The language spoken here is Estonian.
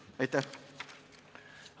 Aitäh!